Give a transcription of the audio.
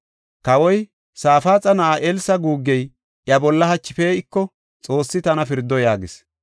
Kawoy, “Safaaxa na7aa Elsa guuggey iya bolla hachi pee7iko, Xoossi tana pirdo!” yaagis.